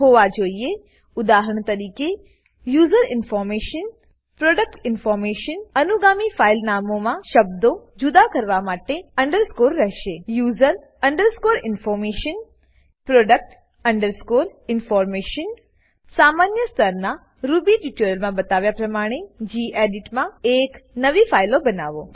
ઉદાહરણ તરીકે user information user information product information product information અનુગામી ફાઈલ નામોમાં શબ્દો જુદા કરવા માટે અન્ડરસ્કૉર રહેશે user underscore information product underscore information સામાન્ય સ્તરનાં રૂબી ટ્યુટોરીયલોમાં બતાવ્યા પ્રમાણે ગેડિટ માં એક નવી ફાઈલ બનાવો